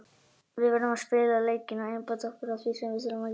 Við verðum að spila leikinn og einbeita okkur að því sem við þurfum að gera.